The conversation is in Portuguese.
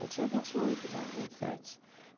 Eu tinha vinte e oito já, vinte e sete.